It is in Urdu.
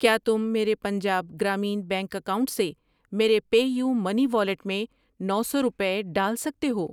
ٔکیا تم میرے پنجاب گرامین بینک اکاؤنٹ سے میرے پے یو منی والیٹ میں نو سو روپے ڈال سکتے ہو؟